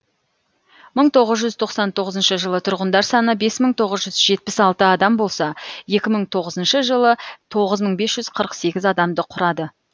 мың тоғыз жүз тоқсан тоғызыншы жылы тұрғындар саны бес мың тоғыз жүз жетпіс алты адам болса екі мың тоғызыншы жылы тоғыз мың бес жүз қырық сегіз адамды құрады